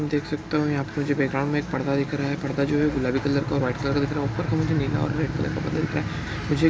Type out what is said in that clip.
देख सकता हूँ यहाँ पे मुझे बैकग्राउंड मे एक पर्दा दिख रहा है। पर्दा जो है गुलाबी कलर का और व्हाइट कलर का दिख रहा है। ऊपर का मुझे नीला और रेड कलर का पर्दा दिख रहा है। मुझे --